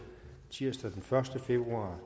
tirsdag den første februar